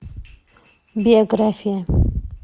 биография